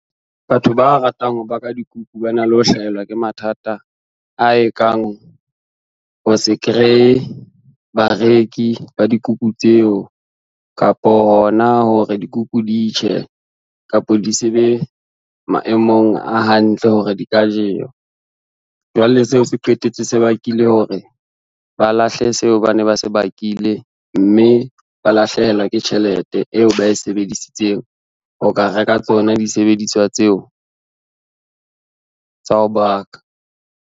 Batho ba ratang ho baka dikuku ba na le ho hlahelwa ke mathata a ekang, ho se kreye bareki ba dikuku tseo, kapo hona hore dikuku di tjhe kapa di se be maemong a hantle hore di ka jewa. Jwale seo se qetetse se bakile hore ba lahle seo ba ne ba se bakile, mme ba lahlehelwa ke tjhelete eo ba e sebedisitseng ho ka reka tsona di sebediswa, tseo tsa ho baka.